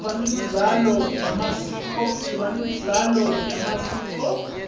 siba nemidlalo yemasiko